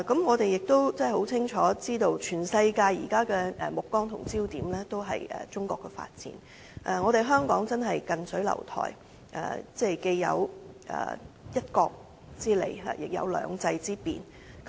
我們亦清楚知道，現時全世界的目光也聚焦中國的發展，香港真是近水樓台，既有"一國"之利，亦有"兩制"之便。